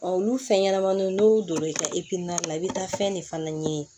olu fɛn ɲɛnamaninw n'u donna i ka la i bɛ taa fɛn de fana ɲini